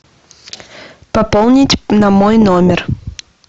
пополнить на мой номер